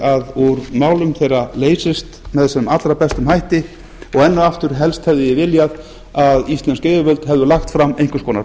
að úr málum þeirra leysist með sem allra bestum hætti enn og aftur helst hefði ég viljað að íslensk yfirvöld hefðu lagt fram